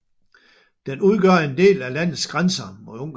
Den udgør en del af landets grænse mod Ungarn